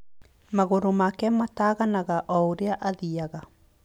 Magũrũ make maataganaga o ũrĩa aathiaga.